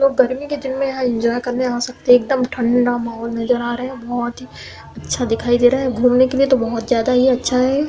लोग गर्मी के दिन में यहां एन्जॉय करने आ सकते हैं। एकदम ठंडा माहौल नजर आ रहा है यहां। बोहोत ही अच्छा दिखाई दे रहा है। घूमने के लिए तो बोहोत ज्यादा ही अच्छा है।